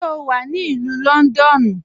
Ṣé o wà ní Ilù Lọ́ndọ́nù?